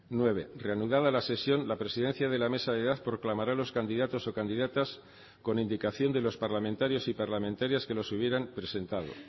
nueve reanudada la sesión la presidencia de la mesa de edad proclamará los candidatos o candidatas con indicación de los parlamentarios y parlamentarias que los hubieran presentado